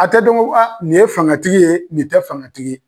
A tɛ dɔn ko a, nin ye fangatigi ye, nin tɛ fangatigi ye.